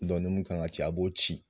ni mun kan ka ci , a b'o ci.